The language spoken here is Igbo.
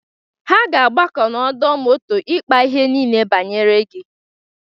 Ha ga-agbakọ n'ọdọ moto ịkpa ihe niile banyere gi.